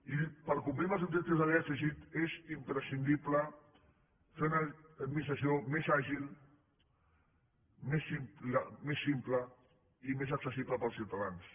i per complir els objectius de dèficit és imprescindible fer una administració més àgil més simple i més accessible per als ciutadans